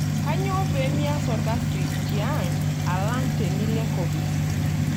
Kinyoo pee mias olkasi tiang' alang' tenilo enkopis?